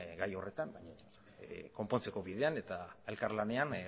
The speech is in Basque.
gai horretan baina konpontzeko bidean eta elkarlanean